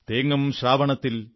തേങ്ങും ശ്രാവണത്തിൻ